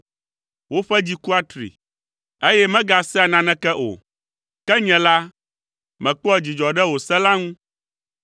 Woƒe dzi ku atri, eye megasea naneke o, ke nye la, mekpɔa dzidzɔ ɖe wò se la ŋu.